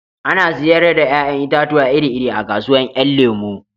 Ana sayar da 'ya'yan itatuwa iri iri a kasuwan 'yan lemo